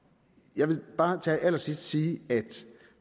jeg vil bare til allersidst sige at